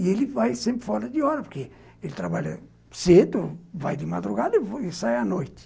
E ele vai sempre fora de hora, porque ele trabalha cedo, vai de madrugada e sai à noite.